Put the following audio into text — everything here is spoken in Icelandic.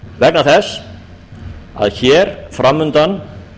vegna þess að hér framundan